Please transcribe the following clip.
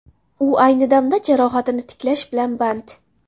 U ayni damda jarohatini tiklash bilan band.